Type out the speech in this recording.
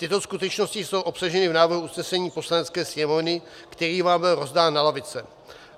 Tyto skutečnosti jsou obsaženy v návrhu usnesení Poslanecké sněmovny, který vám byl rozdán na lavice.